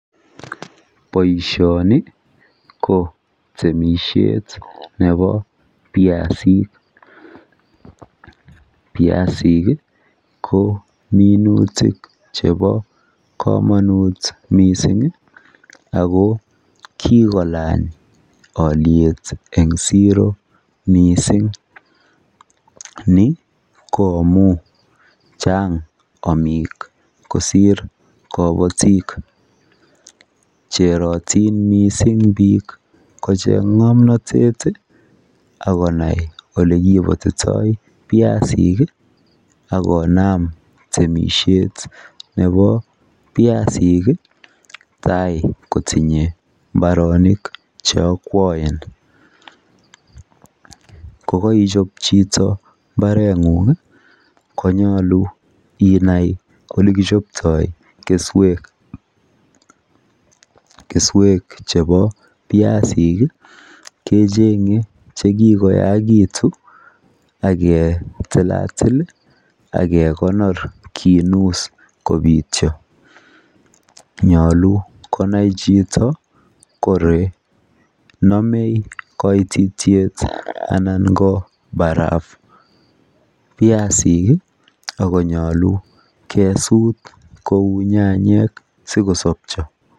boishoni ko temishet nebo byasiik, byasiik iih ko minutik chebo komonuut mising iih ago kigolaany olyeet en zero misiing, ni ko amuun chang omiik kosiir kobotiik cherotin mising biik kocheng ngomnotet iih ak konai ole kipotitoo byasiik iih ak konam temishet nebo byasiik iih tai kotinye mbaronik cheokwoen, ye koichob chito mbaengung iih konyolu inai olekichoptoo kesweek, kesweek chebo byasiik iih kechenge chekigoyaigitun ak ketilalit iih ak kegonor kinuss kobityo, nyolu konai chito kole nome koitityeet anan ko barafu, byasiik iih konyolu kesuut kouu nyanyek sigosobcho.